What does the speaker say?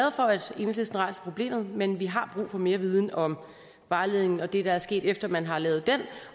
rejser problemet men vi har brug for mere viden om vejledningen og det der er sket efter at man har lavet den